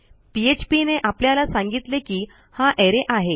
PHP ने आपल्याला सांगितले की हा अरे आहे